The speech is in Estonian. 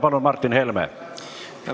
Palun, Martin Helme!